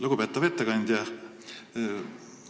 Lugupeetav ettekandja!